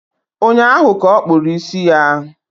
Ụnyaahụ ka okpúrụ ísì ya